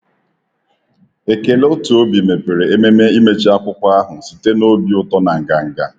Ekele otu obi mepere ememe imechị akwụkwọ ahụ site na obi ụtọ na nganga.